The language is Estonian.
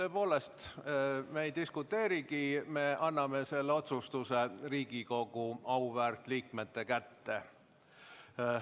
Tõepoolest, me ei diskuteerigi, me anname selle otsustuse Riigikogu auväärt liikmete kätte.